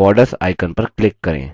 borders icon पर click करें